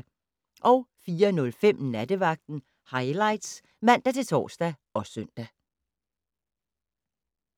04:05: Nattevagten Highlights (man-tor og søn)